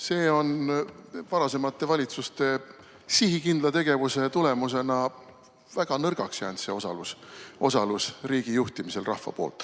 See on varasemate valitsuste sihikindla tegevuse tulemusena väga nõrgaks jäänud, see rahva osalus riigi juhtimisel.